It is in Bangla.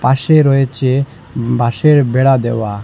পাশে রয়েছে বাঁশের বেড়া দেওয়া।